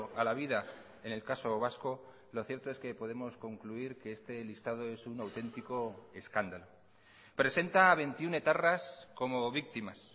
a la vida en el caso vasco lo cierto es que podemos concluir que este listado es un auténtico escándalo presenta a veintiuno etarras como víctimas